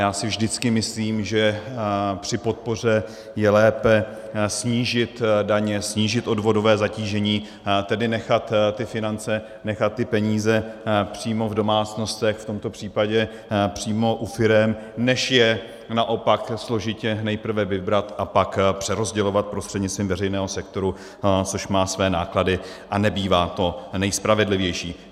Já si vždycky myslím, že při podpoře je lépe snížit daně, snížit odvodové zatížení, tedy nechat ty finance, nechat ty peníze přímo v domácnostech, v tomto případě přímo u firem, než je naopak složitě nejprve vybrat a pak přerozdělovat prostřednictvím veřejného sektoru, což má své náklady a nebývá to nejspravedlivější.